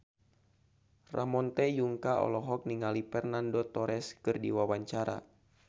Ramon T. Yungka olohok ningali Fernando Torres keur diwawancara